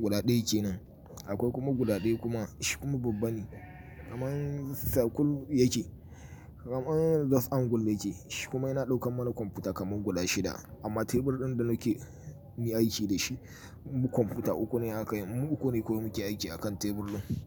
Guda ɗaya kenan. Akwai kuma guda ɗaya kuma shi kuma babban ne kamar circle yake, kamar just angle yake. Shi kuma yana ɗaukan mana kwamfuta kamar guda shida. Amma tebur ɗin da nake yi aiki da shi, kwamfuta uku ne aka yi, mu uku ne kawai muke aiki a kan tebur din.